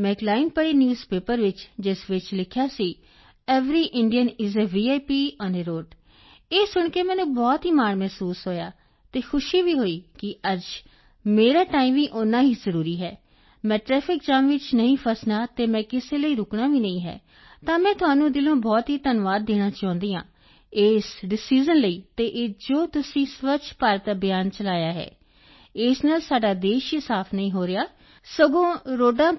ਮੈਂ ਇਕ ਲਾਈਨ ਪੜੀ ਨਿਊਜ਼ ਪੇਪਰ ਵਿੱਚ ਜਿਸ ਵਿੱਚ ਲਿਖਿਆ ਸੀ every Indian is a VIP on a road ਇਹ ਸੁਣ ਕੇ ਮੈਨੂੰ ਬਹੁਤ ਮਾਣ ਮਹਿਸੂਸ ਹੋਇਆ ਅਤੇ ਖੁਸ਼ੀ ਵੀ ਹੋਈ ਕਿ ਅੱਜ ਮੇਰਾ ਟਾਈਮ ਵੀ ਓਨਾ ਹੀ ਜ਼ਰੂਰੀ ਹੈ ਮੈਂ ਟਰੈਫਿਕ ਜਾਮ ਵਿੱਚ ਨਹੀਂ ਫਸਣਾ ਅਤੇ ਮੈਂ ਕਿਸੇ ਲਈ ਰੁਕਣਾ ਵੀ ਨਹੀਂ ਤਾਂ ਮੈਂ ਤੁਹਾਨੂੰ ਦਿਲੋਂ ਬਹੁਤ ਧੰਨਵਾਦ ਦੇਣਾ ਚਾਹੁੰਦੀ ਹਾਂ ਇਸ ਡਿਸਾਈਜ਼ਨ ਲਈ ਅਤੇ ਇਹ ਜੋ ਤੁਸੀਂ ਸਵੱਛ ਭਾਰਤ ਅਭਿਆਨ ਚਲਾਇਆ ਹੈ ਇਸ ਨਾਲ ਸਾਡਾ ਦੇਸ਼ ਹੀ ਸਾਫ ਨਹੀਂ ਹੋ ਰਿਹਾ ਸਗੋਂ ਰੋਡਾਂ ਤੋਂ ਵੀ